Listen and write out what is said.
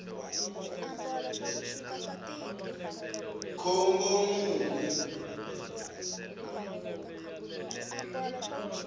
khombomuni